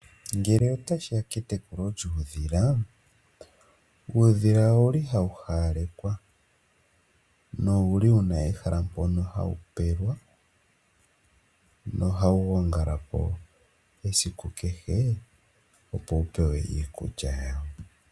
Ngele otashiya pokutekula uudhila, uudhila owuli hawu hawalekwa, na owuli wuna ehala mpoka hawu pelwa nohawu gongala po esiku kehe, opo wu hawalekwe iikulya yawo.